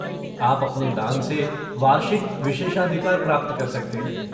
आप अपने दान से वार्षिक विशेषाधिकार प्राप्त कर सकते हैं।